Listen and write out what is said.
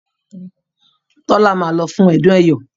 Tola má ló fún ọdún eyọ